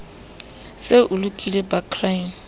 se o lokile ba crime